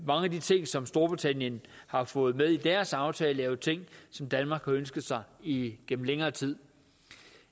mange af de ting som storbritannien har fået med i deres aftale er jo ting som danmark har ønsket sig igennem længere tid